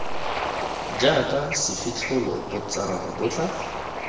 jaka sefitlholo botšarara bo tla